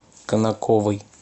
конаковой